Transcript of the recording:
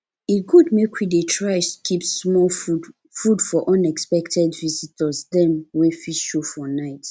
e good make we dey try keep small food food for unexpected visitors dem wey fit show for night